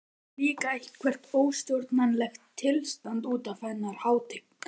Það er líka eitthvert óstjórnlegt tilstand útaf hennar hátign.